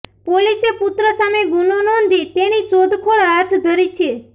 પોલીસે પુત્ર સામે ગુનો નોંધી તેની શોધખોળ હાથ ધરી છે